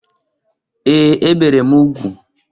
Ee! E bere m ugwu.